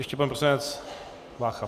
Ještě pan poslanec Vácha.